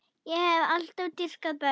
Ég hef alltaf dýrkað börn.